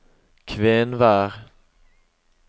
Kvenvær